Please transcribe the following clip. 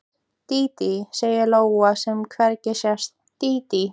Dídí, segir lóan sem hvergi sést, dídí.